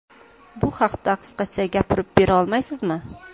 Bu haqda qisqacha gapirib bera olasizmi?